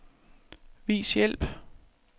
Vis hjælp.